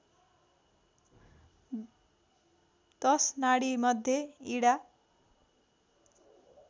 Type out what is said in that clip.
१० नाडीमध्ये इडा